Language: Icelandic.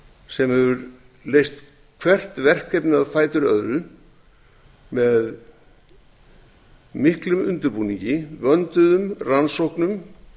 sem hefur leyst hvert verkefnið á fætur öðru með miklum undirbúningi vönduðum rannsóknum